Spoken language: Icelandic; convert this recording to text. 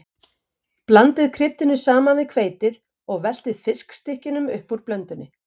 Blandið kryddinu saman við hveitið og veltið fiskstykkjunum upp úr blöndunni.